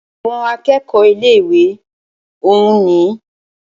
Àwọn akẹ́kọ̀ọ́ ilé ìwé òún nìyí.